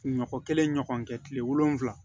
Ɲɔkɔ kelen ɲɔgɔn kɛ kile wolonwula